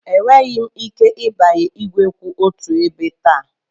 Enweghị m ike ịbanye igwe kwụ otu ebe taa.